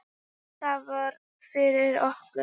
Það var nóg fyrir okkur.